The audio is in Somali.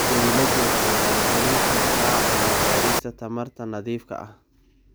Dawladdu waxay maalgelin kartaa cilmi-baadhista tamarta nadiifka ah.